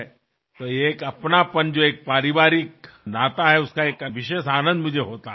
ही जी आपुलकीची भावना आहे हे जे कौटुंबिक नाते आहे त्यातून मला एक विशेष आनंद मिळतो